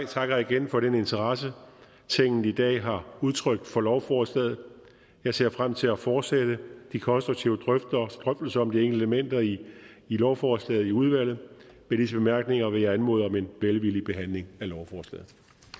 takker igen for den interesse tinget i dag har udtrykt for lovforslaget og jeg ser frem til at fortsætte de konstruktive drøftelser om de enkelte elementer i lovforslaget i udvalget med disse bemærkninger vil jeg anmode om en velvillig behandling af lovforslaget